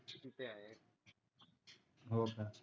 हो का